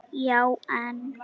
Já en.?